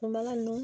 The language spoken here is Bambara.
Kun bana nin